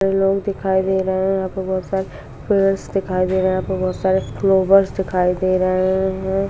लोग दिखाई दे रहे हैं यहां पे बहुत सारे पेड़र्स दिखाई दे रहे हैं यहां पर बहुत सारे फ्लावर्स दिखाई दे रहे हैं।